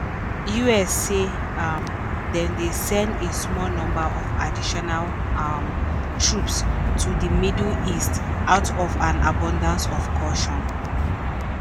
us say um dem dey send "a small number" of additional um troops to di middle east "out of an abundance of caution".